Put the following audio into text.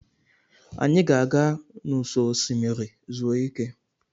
Anyị ga-aga n'ụsọ osimiri zuru ike.